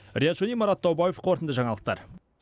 риат шони марат таубаев қорытынды жаңалықтар